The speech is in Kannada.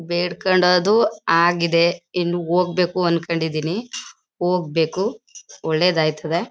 ಬೇಡ್ಕಂಡದು ಆಗಿದೆ ಇನ್ನು ಹೋಗಬೇಕು ಅಂಕಂಡಿದೀನಿ ಹೋಗಬೇಕು ಒಳ್ಳೆದಾಯ್ತದೆ.